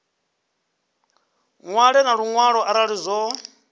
ṅwale na luṅwalo arali zwo